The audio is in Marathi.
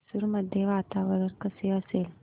मैसूर मध्ये वातावरण कसे असेल